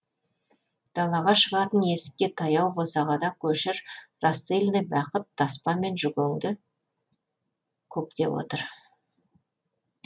далаға шығатын есікке таяу босағада көшір рассыльный бақыт таспамен жүгеңді көктеп отыр